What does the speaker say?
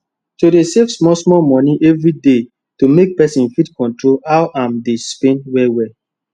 to dey save small small money every day make person fit control how am dey spend wellwell